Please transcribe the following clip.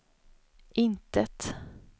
intet